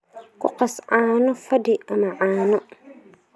Ku qas caano fadhi ama caano.